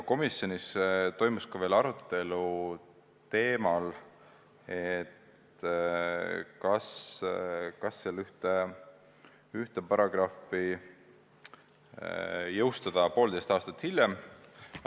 Komisjonis toimus veel arutelu teemal, kas ühte paragrahvi ei võiks jõustada poolteist aastat hiljem.